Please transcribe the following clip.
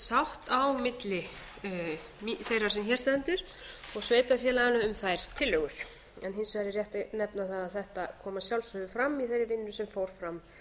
sátt á milli þeirrar sem hér stendur og sveitarfélaganna um þær tillögur hins vegar er rétt að nefna það að þetta kom að sjálfsögðu fram í þeirri vinnu sem fór fram